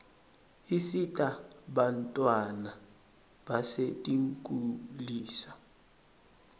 isita bantfwana basetinkulisa